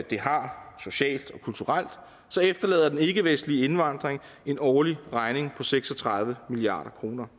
det har socialt og kulturelt efterlader den ikkevestlige indvandring en årlig regning på seks og tredive milliard kroner